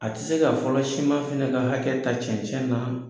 A ti se ka fɔlɔ siman fɛnɛ ka hakɛ ka cɛncɛn nɔn